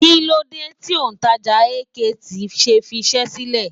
Kílódé tí òǹtajà AKT ṣe fiṣẹ́ sílẹ̀?